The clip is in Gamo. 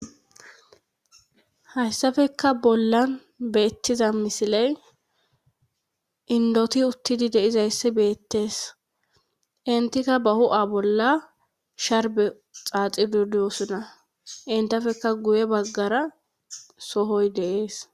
Hayssafeka bollan beettiza misiley indoti uttidi deizayssi beettees intika ba hu7a bolla sharbe xaaxidudyosuna intafeka guye baggara sohoy deees.